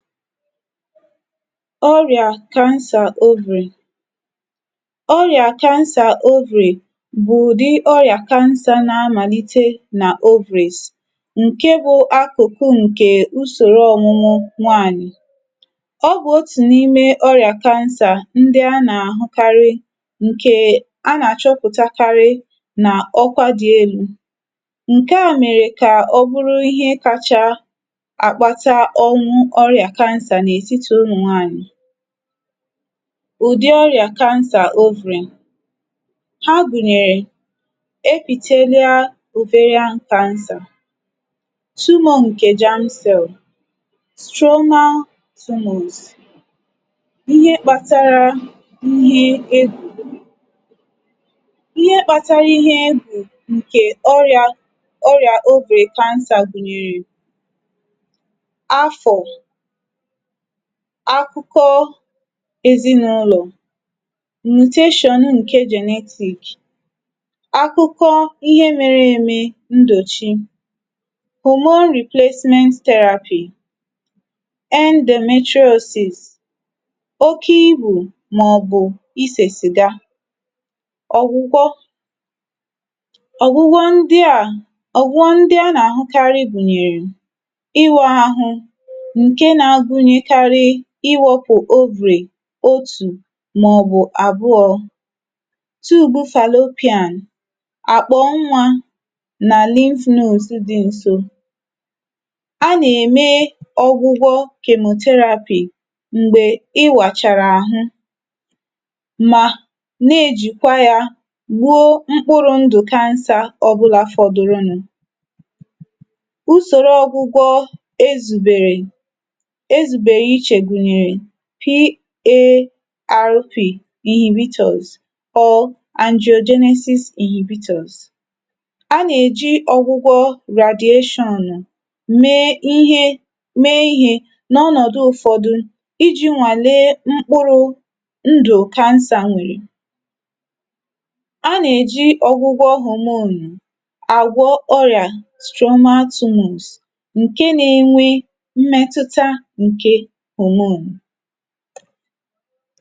ọrị̀à cancer ovary. ọrị̀à cancer ovary bụ̀ ụ̀dị oyà cancer na amàlite nà ovaries, ǹke bụ̄ akụ̀kụ ǹkè usòro ọmụmụ nwaànyị̀. ọ bụ̀ otù n’ime orị̀à cancer, ndị a nà àhụkarị, ǹkè a nà àchọpụ̀takarị nà ọkwa dị elū. ǹkẹ à mèrè kkà ọ bụrụ ịhẹ kacha àkpata ọnwụ ọrị̀à cancer n’ètitì ụmụ̀ nwaànyị̀. ụ̀dị ọrị̀à cancer ovary. ha gùnyèrè, epithelial ovarian cancer, tumor ǹkè germ cell, stromal tumors, ihe kpatara ihe egwù. ihe kpatara ihe egwù, ǹkè ọrị̀à ovary cancer gùnyèrè, afọ̀, akụkọ ezinụlọ̀, mutation ǹke genetic, akụkọ ihe mere eme ndòchi, hormone replacement therapy, endometriosis, oke ibù, mà ọ̀ bụ̀ ịsẹ̀ cigar, ọ̀gwụgwọ, ọ̀gwụgwọ ndịà a nà àhụkarị gùnyèrè, ịwā ahụ, ǹke na gunyekarị ịwẹ̄pụ̀ ovary otù mà ọ̀ bụ̀ àbụọ, tube fallopian, àkpà nwā, nà lymph nodes dī ǹso. a nà ème ọgwụgwọ chemotherapy. m̀gbè ịwàchàrà àhụ, mà na ejìkwa ya wuo mkpụrụ̄ ndụ̀ cancer ọbụlā fọdụrụ nụ̄. usòro ọgwụgwọ e zùbèrè, e zùbèrè ichè gùnyèrè, PARP inhibitors, or androgenesis inhibitors. a nà èji ọgwụgwọ radiation me ihe me ihē, n’ọnọ̀dụ ụfọdụ, ijī nwàle mkpụrụ̄ ndụ̀ cancer nwèrè. a nà èji ọgwụgwọ hormone àgwọ ọrị̀à stromal tumors, ǹke na enwe mmẹtụta ǹkè hormone.